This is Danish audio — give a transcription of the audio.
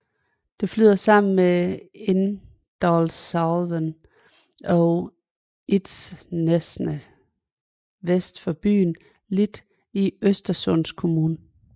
Den flyder sammen med Indalsälven ved Litsnäset vest for landsbyen Lit i Östersunds kommun